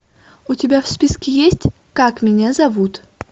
у тебя в списке есть как меня зовут